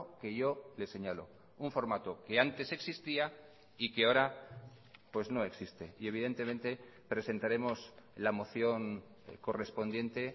que yo le señalo un formato que antes existía y que ahora pues no existe y evidentemente presentaremos la moción correspondiente